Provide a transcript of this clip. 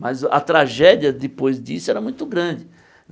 Mas a tragédia, depois disso, era muito grande.